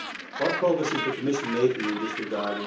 What progress is the Commission making in this regard?